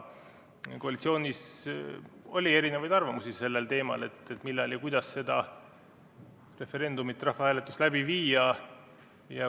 Koalitsioonis oli erinevaid arvamusi sellel teemal, millal ja kuidas seda referendumit, rahvahääletust läbi viia.